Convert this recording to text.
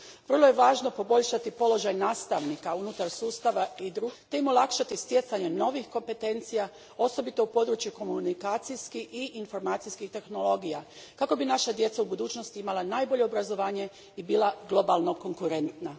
Vrlo je važno poboljšati položaj nastavnika unutar sustava i društva općenito te im olakšati stjecanje novih kompetencija, osobito u području komunikacijskih i informacijskih tehnologija, kako bi naša djeca u budućnosti imala najbolje obrazovanje i bila globalno konkurentna.